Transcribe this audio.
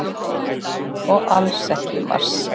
Og alls ekki í mars.